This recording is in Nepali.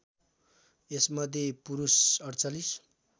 यसमध्ये पुरुष ४८